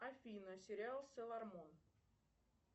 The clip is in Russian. афина сериал сейлормун